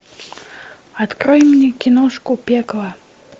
открой мне киношку пекло